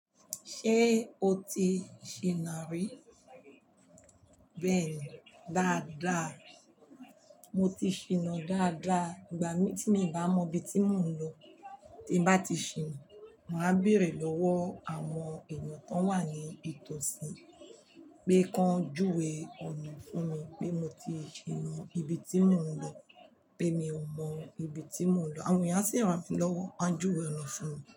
Ṣé o ti ṣiná rí? Bẹ́ẹ̀ni, dáadáa. Mo ti ṣiná dáadáa. Ìgbà tí mi ò bá mọ ibi tí mò ń lọ, tín bá ti ṣiná, màá béèrè lọ́wọ́ àwọn èèyàn kan wà ní ìtòsí, pé kọn júwe ọ̀nà fún mi pé mo ti ṣiná ibi tí mò ń lọ pé mi ò mọ ibi tí mò ń lọ. Àwọn èèyàn a sì ràn mí lọ́wọ́, wọn a júwe ọ̀nà fún mi.